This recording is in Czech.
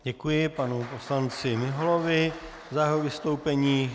Děkuji panu poslanci Miholovi za jeho vystoupení.